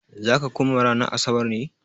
Za ka koma ranar Asabar ne?